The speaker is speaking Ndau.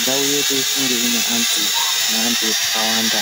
ndau yedu inge ine antu neantu akawanda.